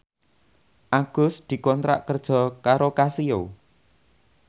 Agus dikontrak kerja karo Casio